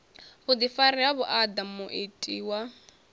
vhuḓifari ha vhuaḓa muiti wa